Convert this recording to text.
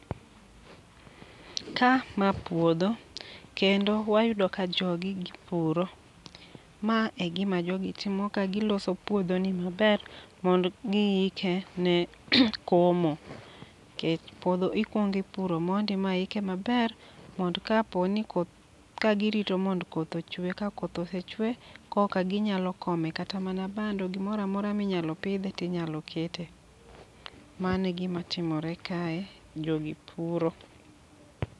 Ka ma puodho, kendo wayudo ka jogi gipuro. Ma e gima jogi timo ka, giloso puodho ni maber, mond giike ne komo. kech puodho ikwongi puro mondi ma ike maber, mond ka po ni koth, ka girito mond koth ochwe. Ka koth osechwe, koka ginyalo kome kata mana bando, gimoramora minyalo pidhe tinyalo kete. Mano e gima timore kae, jogi puro.